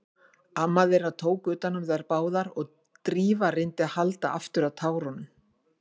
Amma þeirra tók utan um þær báðar og Drífa reyndi að halda aftur af tárunum.